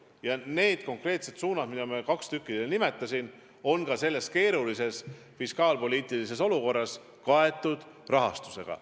Ja need konkreetsed suunad, millest kaht ma nimetasin, on ka praeguses keerulises fiskaalpoliitilises olukorras kaetud rahastusega.